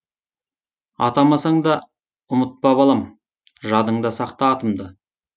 атамасаң да ұмытпа балам жадыңда сақта атымды